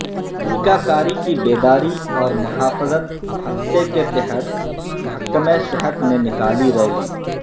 ٹیکہ کاری کی بیداری اور محافظت ہفتہ کے تحت محکمہ صحت نے نکالی ریلی